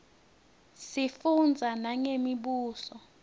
sifundza nangemibuso